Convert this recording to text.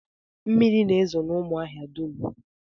Mmiri na-ezo n'ụmụahia dum